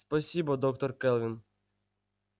спасибо доктор кэлвин